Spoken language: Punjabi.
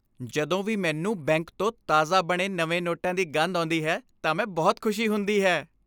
ਜਦੋਂ ਵੀ ਮੈਨੂੰ ਬੈਂਕ ਤੋਂ ਤਾਜ਼ਾ ਬਣੇ ਨਵੇਂ ਨੋਟਾਂ ਦੀ ਗੰਧ ਆਉਂਦੀ ਹੈ ਤਾਂ ਮੈਂ ਬਹੁਤ ਖੁਸ਼ੀ ਹੁੰਦੀ ਹੈ।